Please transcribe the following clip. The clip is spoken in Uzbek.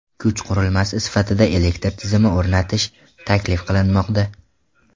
Kuch qurilmasi sifatida elektr tizim o‘rnatish taklif qilinmoqda.